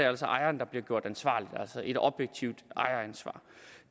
altså ejeren der bliver gjort ansvarlig altså et objektivt ejeransvar